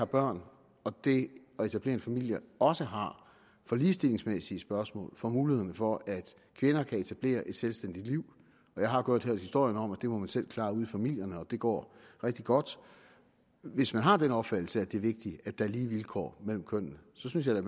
børn og det at etablere en familie også har for ligestillingsmæssige spørgsmål for mulighederne for at kvinder kan etablere et selvstændigt liv og jeg har godt hørt historien om at det må man selv klare ude i familierne og at det går rigtig godt hvis man har den opfattelse at det er vigtigt at der er lige vilkår mellem kønnene så synes jeg